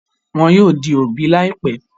Wọn yóò di òbí láìpẹ́.